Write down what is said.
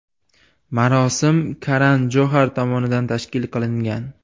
Marosim Karan Johar tomonidan tashkil qilingan.